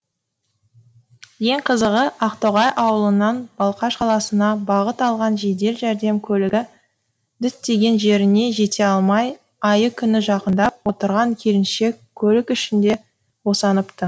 ең қызығы ақтоғай ауылынан балқаш қаласына бағыт алған жедел жәрдем көлігі діттеген жеріне жете алмай айы күні жақындап отырған келіншек көлік ішінде босаныпты